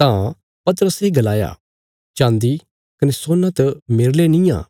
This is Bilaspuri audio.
तां पतरसे गलाया चाँदी कने सोना त मेरले निआं